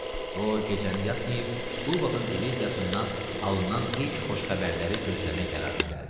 O gecəni yatmayıb Qulbaxın diviziyasından alınan ilk xoş xəbərləri gözləmək qərarına gəldi.